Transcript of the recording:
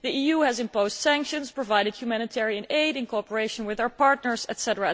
the EU has imposed sanctions and provided humanitarian aid in cooperation with our partners, etc.